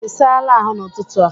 Ị saala ahụ n'ụtụtụ a?